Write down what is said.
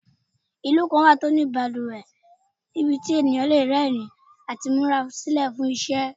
Ilu kan wa ti o ni baluwe nibiti eniyan le rẹrin ati mura silẹ fun iṣẹ